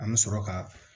An bɛ sɔrɔ ka